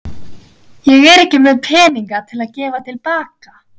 Ég er ekki með peninga til að gefa til baka.